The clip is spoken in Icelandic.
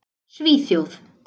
Svíþjóð